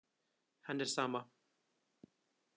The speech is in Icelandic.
Henni er sama.